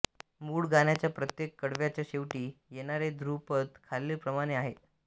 मूळ गाण्याच्या प्रत्येक कडव्याच्या शेवटी येणारे ध्रुवपद खालील प्रमाणे आहे